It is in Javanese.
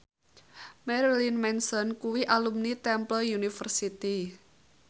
Marilyn Manson kuwi alumni Temple University